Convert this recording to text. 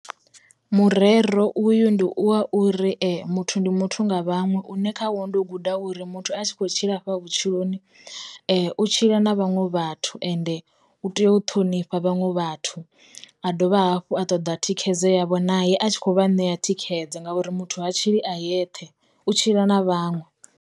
Murero uyu ndi wa uri muthu ndi muthu nga vhaṅwe une kha wo ndo guda uri muthu a tshi kho tshila afha vhutshiloni, u tshila na vhaṅwe vhathu ende u tea u ṱhonifha vhanwe vhathu, a dovha hafhu a ṱoḓa thikhedzo yavho naye a tshi kho vha ṋea thikhedzo nga uri muthu ha tshili a yeṱhe u tshila na vhaṅwe.